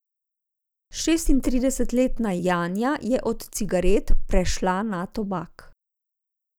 Šestintridesetletna Janja je od cigaret prešla na tobak.